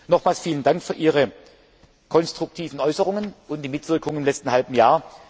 Nochmals vielen Dank für Ihre konstruktiven Äußerungen und die Mitwirkung im letzten halben Jahr.